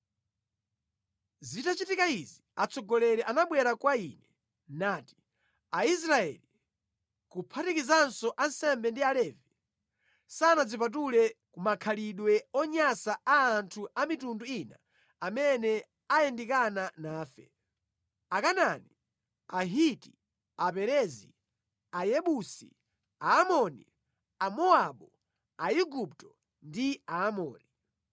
Zitachitika izi, atsogoleri anabwera kwa ine nati, “Aisraeli, kuphatikizanso ansembe ndi Alevi, sanadzipatule ku makhalidwe onyansa a anthu a mitundu ina amene ayandikana nafe: Akanaani, Ahiti, Aperezi, Ayebusi, Aamoni, Amowabu, Aigupto ndi Aamori.